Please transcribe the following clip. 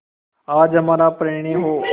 आज हमारा परिणय हो